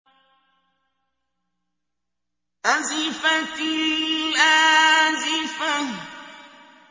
أَزِفَتِ الْآزِفَةُ